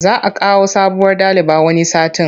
Za a kawo sabuwar daliba wani satin.